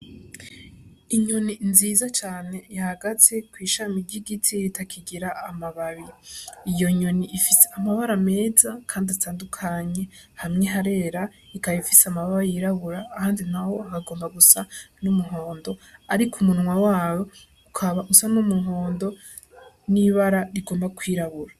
Inyoni nziza cane yahagaze kw'ishami ry'igiti kitakigira amababi, iyo nyoni ifise amabara meza kandi atandukanye hamwe harera, ikaba ifise amababi y'irabura ahandi naho hagomba gusa n'umuhondo, ariko umunwa wawo ukaba usa n'umuhondo n'ibara rigomba kw'irabura.